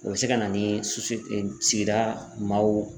O bɛ se ka na ni sigida maaw